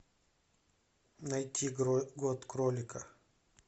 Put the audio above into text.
найти год кролика